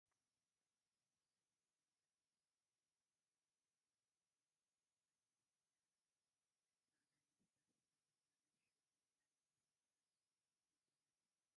ፀሊም ሕብሪ ዘለዎ ሱፍን ፃዕዳ ሕብሪ ዘለዎ ሸሚዝን ዝገበረ ኮይኑ ናይ ኢትዮጵያ ሃገር ጠቅላይ ሚኒስተር ስለዝኮነ ሽሙ መን ይብሃል ይከውን?